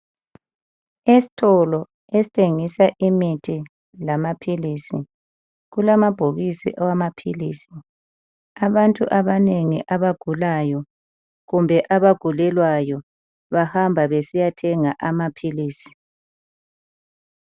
Esitolo esithengisa imithi lamaphilizi kulamabhokisi awamaphilisi abantu abanengi abagulayo kumbe abagulelwayo bahamba besiya thenga amaphilisi.